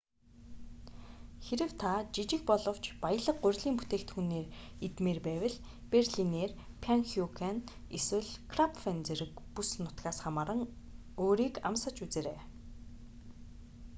хэрэв та жижиг боловч баялаг гурилан бүтээгдэхүүн идмээр байвал берлинер паннкюхен эсвэл крапфен зэрэг бүс нутгаас хамааран өөрийг амсаж үзээрэй